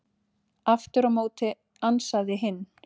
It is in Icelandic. Aftur á móti ansaði hinn: